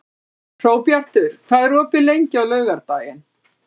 Hróbjartur, hvað er opið lengi á laugardaginn?